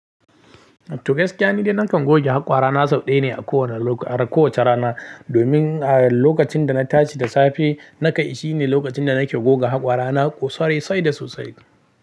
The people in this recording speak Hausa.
To gaskiya ni dai nakan goge haƙora na sau ɗaya ne a kowane lok—a kowace rana. Domin a lokacin da na tashi da safe, naka shi ne lokacin da nake goga haƙora na sosai sai da sosai.